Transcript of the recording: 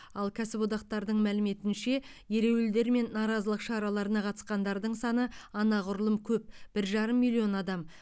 ал кәсіподақтардың мәліметінше ереуілдер мен наразылық шараларына қатысқандардың саны анағұрлым көп бір жарым миллион адам